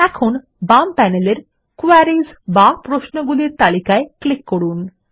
এখন বাম প্যানেলের কোয়েরিস বা প্রশ্নগুলির তালিকায় ক্লিক করুন